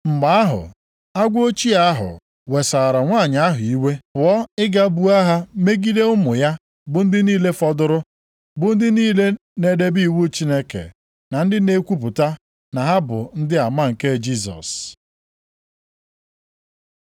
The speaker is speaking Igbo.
Mgbe ahụ, agwọ ochie ahụ wesara nwanyị ahụ iwe, pụọ ịga buo agha megide ụmụ ya bụ ndị niile fọdụrụ, bụ ndị niile na-edebe iwu Chineke na ndị na-ekwupụta na ha bụ ndị ama nke Jisọs.